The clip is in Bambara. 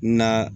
Na